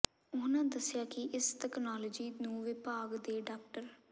ਉਨ੍ਹਾਂ ਦੱਸਿਆ ਕਿ ਇਸ ਤਕਨਾਲੋਜੀ ਨੂੰ ਵਿਭਾਗ ਦੇ ਡਾ